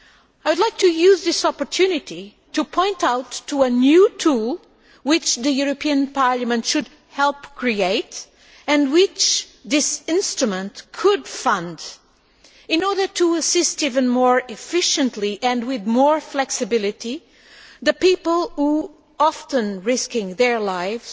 I would like to use this opportunity to point out a new tool which the European Parliament should help create, and which this instrument could fund in order to assist even more efficiently and with more flexibility the people who often risk their lives